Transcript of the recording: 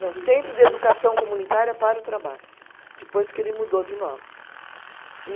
Não, Centro de Educação Comunitária para o Trabalho, depois que ele mudou de nome. E